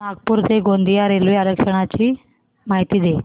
नागपूर ते गोंदिया रेल्वे आरक्षण ची माहिती दे